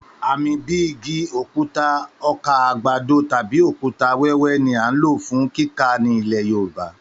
Àmì bíi igi, òkúta, ọkà àgbàdo tàbí òkúta-wẹwẹ ni a ń lò fún kíkà ní ilẹ̀ Yorùbá.